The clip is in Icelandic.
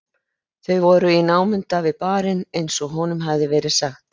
Þau voru í námunda við barinn eins og honum hafði verið sagt.